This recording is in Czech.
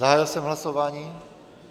Zahájil jsem hlasování.